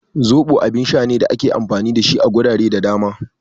Zoɓo abun sha ne da ake amfani da shi a gurare da dama